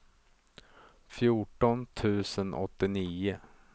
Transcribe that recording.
fjorton tusen åttionio